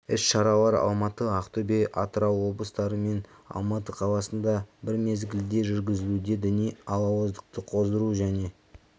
іс-шаралар алматы ақтөбе атырау облыстары мен алматы қаласында бір мезгілде жүргізілуде діни алауыздықты қоздыру және